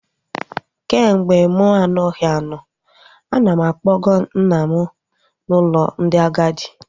Kemgbe mụ anaghị anọ, ana m akpọga nna m n'ụlọ ndị agadi